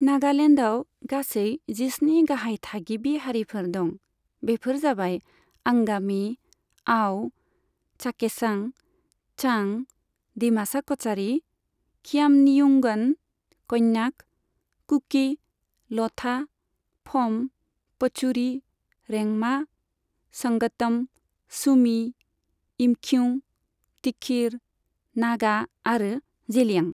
नागालेण्डआव गासै जिस्नि गाहाय थागिबि हारिफोर दं, बेफोर जाबाय आंगामि, आउ, चाखेसां, चां, दिमासा कछारि, खियामनियुंगन, क'न्याक, कुकि, ल'था, फ'म, पचुरि, रेंमा, संगतम, सुमि, इमखिउं, तिखिर नागा आरो जेलियां।